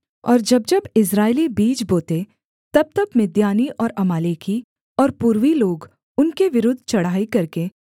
और जब जब इस्राएली बीज बोते तबतब मिद्यानी और अमालेकी और पूर्वी लोग उनके विरुद्ध चढ़ाई करके